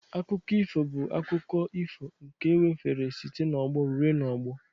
Akụkọ ifo bụ akụkọ ifo nke ewefere site n'ọgbọ ruo n'ọgbọ